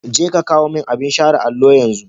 Je ka kawo min abin share allo yanzu.